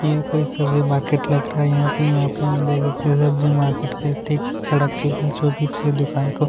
यह कोई सब्जी मार्केट लग रहा है यहाँ पे हम देख सकते है सब्जी मार्केट के सड़क के बीचों-बीच ये दुकान को--